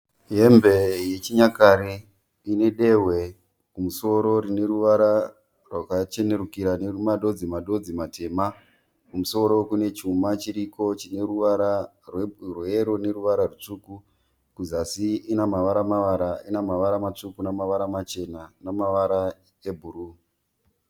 Hembe yechinyakare ine dehwe kumusoro rine ruvara rwakachenerukira nemadodzi madodzi matema. Kumusoro kune chuma chiriko chine ruvara rweyero neruvara rutsvuku. Kuzasi ine mavara mavara ine mavara matsvuku namavara machena namavara ebhuruu.